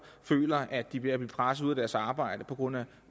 føler at de bliver presset ud af deres arbejde på grund af